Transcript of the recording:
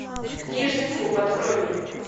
книжный клуб открой мне